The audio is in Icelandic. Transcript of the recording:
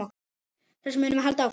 Þessu munum við halda áfram.